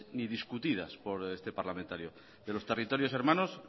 ni discutidas por este parlamentario de los territorios hermanos